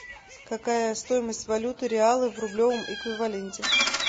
какая стоимость валюты реала в рублевом эквиваленте